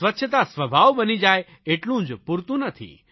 સ્વચ્છતા સ્વભાવ બની જાયે એટલું જ પૂરતું નથી